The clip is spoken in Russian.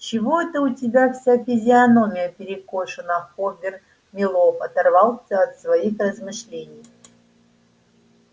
чего это у тебя вся физиономия перекошена хобер мэллоу оторвался от своих размышлений